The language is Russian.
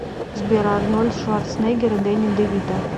сбер арнольд шварцнегер и дени девито